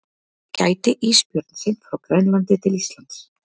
Gæti ísbjörn synt frá Grænlandi til Íslands?